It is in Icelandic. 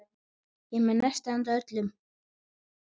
Ég er með nesti handa öllum.